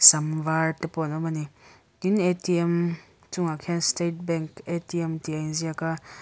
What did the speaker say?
sam var te pawh an awm a ni tin atm chungah khian state bank atm tih a in ziak a.